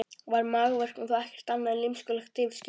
Var magaverkurinn þá ekkert annað en lymskulegt yfirskin?